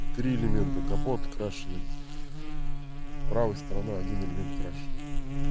три элемента капот крашеный правой сторона один элемент крашеный